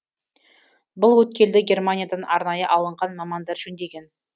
бұл өткелді германиядан арнайы алынған мамандар жөндеген